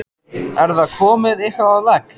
Er það komið eitthvað á legg?